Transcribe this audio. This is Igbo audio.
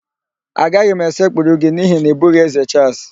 Agaghị m esekpuru gị n'ihi na ị bụghị Ézē Chaals